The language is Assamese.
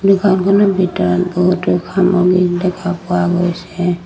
দোকানখনৰ ভিতৰত বহুতো সামগ্ৰী দেখা পোৱা গৈছে।